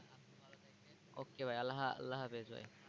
okey ভাই আল্লাহ আল্লাহহাফেজ ভাই।